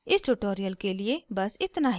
इस ट्यूटोरियल के लिए बस इतना ही